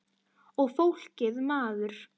Og fólkið maður.